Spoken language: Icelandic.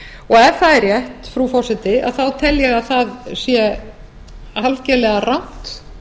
og ef það er rétt frú forseti tel ég að það sé algerlega rangt